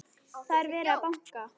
Það er verið að banka!